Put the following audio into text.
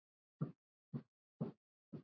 Og svarið var nei.